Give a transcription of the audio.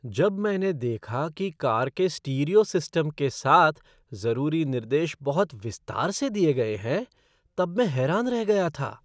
जब मैंने देखा कि कार के स्टीरियो सिस्टम के साथ जरूरी निर्देश बहुत विस्तार से दिये गए हैं तब मैं हैरान रह गया था।